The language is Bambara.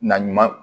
Na ɲuman